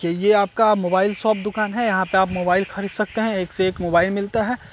ये आपका mobile shop दुकान है यहाँ पे आप मोबाइल खरीद सकते हैं एक से एक मोबाइल मिलता है।